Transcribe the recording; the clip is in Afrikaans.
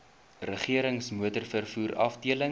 regerings motorvervoer afdeling